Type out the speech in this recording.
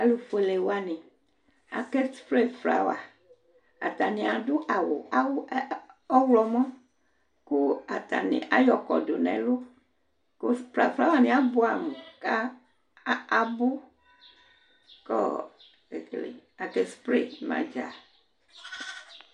Alʋfuele wanɩ Akaspre flawa Atanɩ adʋ awʋ awʋ a ɔɣlɔmɔ kʋ atanɩ ayɔ kɔdʋ nʋ ɛlʋ kʋ spra flawanɩ abʋɛamʋ kʋ abʋ kʋ ekele akaspre ma dza